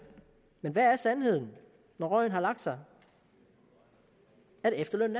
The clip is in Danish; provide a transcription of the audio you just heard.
men hvad er sandheden når røgen har lagt sig at efterlønnen